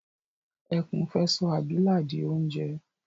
Ẹkún fẹ́ sọ abilà di oúnjẹ